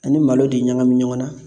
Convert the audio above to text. Ani malo de ɲagami ɲɔgɔn na